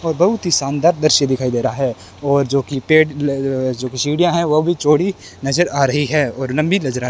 और बहुत ही शानदार दृश्य दिखाई दे रहा है और जो की पेड़ जो की सीढ़िया है वो भी चौड़ी नज़र आ रही है और लंबी नज़र आ --